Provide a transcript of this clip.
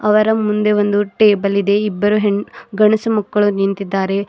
ಅವರ ಮುಂದೆ ಒಂದು ಟೇಬಲ್ ಇದೆ ಇಬ್ಬರು ಹೆಣ್ಣು ಗಂಡುಸು ಮಕ್ಕಳು ನಿಂತಿದ್ದಾರೆ.